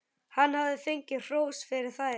Hann hafði fengið hrós fyrir þær.